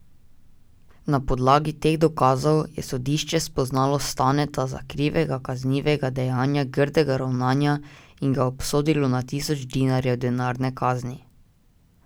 Na podlagi teh dokazov je sodišče spoznalo Staneta za krivega kaznivega dejanja grdega ravnanja in ga obsodilo na tisoč dinarjev denarne kazni.